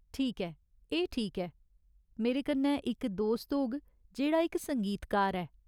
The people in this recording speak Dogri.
ठीक ऐ, एह् ठीक ऐ। मेरे कन्नै इक दोस्त होग जेह्ड़ा इक संगीतकार ऐ।